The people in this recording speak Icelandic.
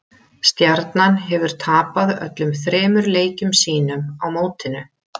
Stjarnan hefur tapað öllum þremur leikjum sínum á mótinu.